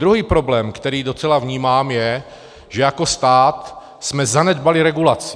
Druhý problém, který docela vnímám, je, že jako stát jsme zanedbali regulaci.